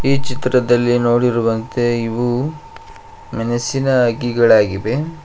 ಈ ಚಿತ್ರದಲ್ಲಿ ನೋಡಿರುವಂತೆ ಇವು ಮೆಣಸಿನ ಅಗೀಗಳಾಗಿವೆ.